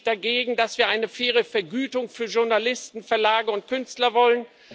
Was spricht dagegen, dass wir eine faire Vergütung für Journalisten, Verlage und Künstler wollen?